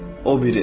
O biri.